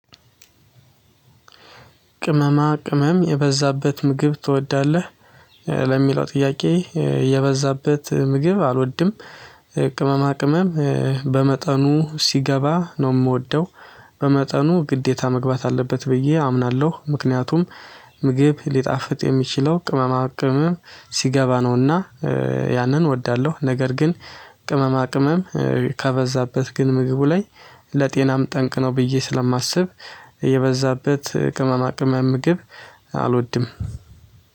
ቅመማ ቅመም የበዛበት ምግብ ትወዳለህ? ለሚለው ጥያቄ የበዛበት ምግብ አልወድም። ቅመማ ቅመም በመጠኑ ሲገባ ነው የምወደው። በመጠኑ ግዴታ መግባት አለበት ብዬ አምናለሁ። ምክንያቱም ምግብ ሊጣፍጥ የሚችለው ቅመማ ቅመም ሲገባ ነውና ያንን እወዳለሁ። ነገር ግን ቅመማ ቅመም ከበዛበት ግን ምግቡ ላይ ለጤናም ጠንቅ ነው። ብዬ ስለማስብ የበዛበት ቅመማ ቅመም ምግብ አልወድም።